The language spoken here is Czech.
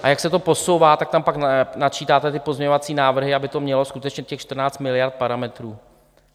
A jak se to posouvá, tak tam pak načítáte ty pozměňovací návrhy, aby to mělo skutečně těch 14 miliard parametrů (?).